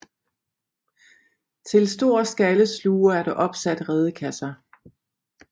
Til stor skallesluger er der opsat redekasser